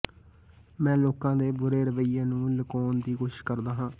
ਮੈਂ ਲੋਕਾਂ ਦੇ ਬੁਰੇ ਰਵੱਈਏ ਨੂੰ ਲੁਕਾਉਣ ਦੀ ਕੋਸ਼ਿਸ਼ ਕਰਦਾ ਹਾਂ